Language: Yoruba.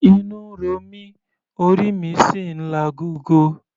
Inú ń ro mí, orí mi sì ń lagogo.